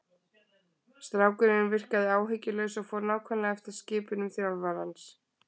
Strákurinn virkaði áhyggjulaus og fór nákvæmlega eftir skipunum þjálfarans.